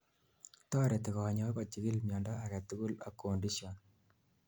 toreti konyoik kochikil miondo agetugul ak conditions